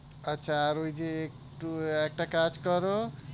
আচ্ছা আর ওই যেএকটু উহ একটা কাজ করো।